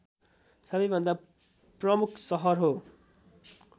सबैभन्दा प्रमुख सहर हो